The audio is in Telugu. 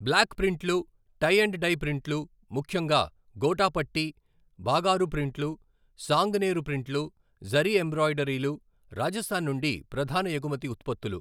బ్లాక్ ప్రింట్లు, టై అండ్ డై ప్రింట్లు, ముఖ్యంగా గోటాపట్టి , బాగారు ప్రింట్లు, సాంగనేర్ ప్రింట్లు, జరీ ఎంబ్రాయిడరీలు రాజస్థాన్ నుండి ప్రధాన ఎగుమతి ఉత్పత్తులు.